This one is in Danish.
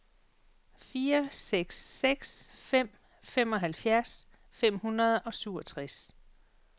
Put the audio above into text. fire seks seks fem femoghalvfems fem hundrede og syvogtres